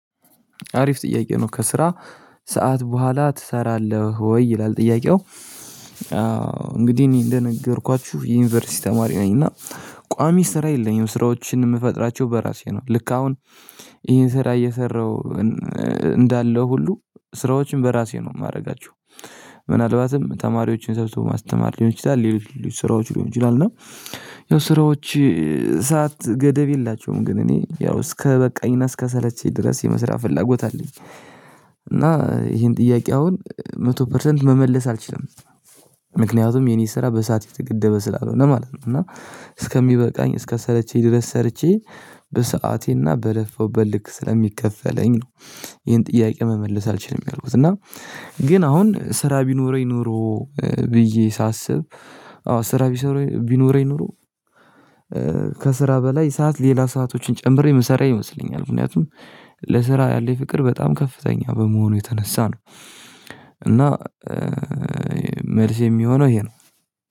አሪፍ ጥያቄ ነው ከስራ ሰዓት በኋላ ትሰራለህ ወይ? ይላል ጥያቄው እንግዲህ እኔ እንደነገርኳችሁ የዩኒቨርሲቲ ተማሪ ነኝ እና ቋሚ ስራ የለኝም ስራዎችን የምፈጥራቸው በራሴ ነው ልክ አሁን ይሄን ስራ እየሰራሁ እንዳለው ሁሉ ስራዎችን በራሴ ነው የማደርጋቸው ምናልባትም ተማሪዎችን ሰርቶ ማስተማር ሊሆን ይችላል ሌሎች ሌሎች ስራዎች ሊሆን ይችላል እና ያው ስራዎች ሰዓት ገደብ የላቸውም ግን እኔ ያው እስከበቃኝና እስከሰለቸኝ ድረስ የመስራት ፍላጎት አለኝ እና ይሄን ጥያቄ አሁን መቶ ፐርሰንት መመለስ አልችልም ምክንያቱም የኔ ስራ በሰአት የተገደበ ስላልሆነ ማለት ነው እና እስከሚበቃኝ እስከሰለችኝ ድረስ ሰርቼ በሰአቴና በለፋሁበት ልክ ስለሚከፈለኝ ነው ይሄን ጥያቄ መመለስ አልችልም ያልኩት እና ግን አሁን ስራ ቢኖረኝ ኖሮ ብዬ ሳስብ አዎ ስራ ቢኖረኝ ኖሮ ከስራ በላይ ሰዓት ሌላ ሰአቶችን ጨምሬ የምሰራ ይመስለኛል ምክንያቱም ለስራ ያለኝ ፍቅር በጣም ከፍተኛ በመሆኑ የተነሳ ነው እና መልስ የሚሆነው ይሄ ነው